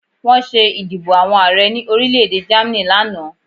Wọ́n ṣé ìdìbò àwọn Ààrẹ ní orílẹ̀-èdè Germany lánàá